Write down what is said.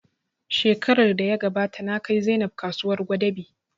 Shekarar da ya gabata na kai Zainab kasuwar Gwadabe